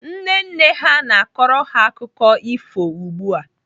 Nne nne ha na-akọrọ ha akụkọ ifo ugbu a.